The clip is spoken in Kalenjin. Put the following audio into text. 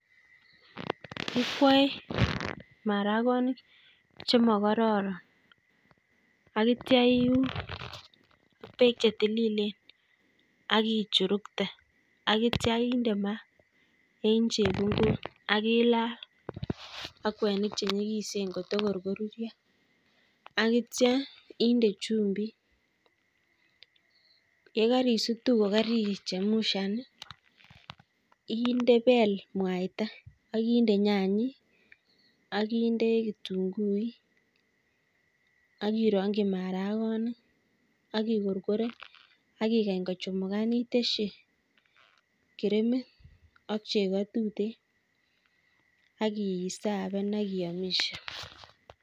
ikwoe marakoni chemokororon, ak kitya iun ak beek chetililen, ak ichurukte ak kitya inde ma en chebungut, ak ilal ak kwenik cheny'ikisen kotokor korurya, ak kitya inde chumbit, ye karisutu kokarichemshan ii ibel mwaita ak inde nyany'ik, ak inde kitunguik, ak ironkyi marakoni ak ikorkoren ak igany kochumugan itesyi kirimit ak chego tuten ak isaven ak iyomisye.